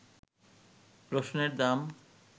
রসুনের দাম